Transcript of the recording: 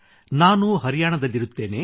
ನಾನು ಹರಿಯಾಣದಲ್ಲಿರುತ್ತೇನೆ